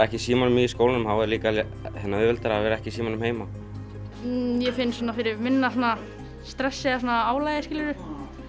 ekki í símanum í skólanum þá er líka auðveldara að vera ekki í símanum heima mér finnst ég finna fyrir minna stressi eða svona álagi skilurðu